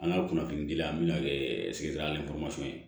An ka kunnafoni dili an mina kɛ sigida ni ye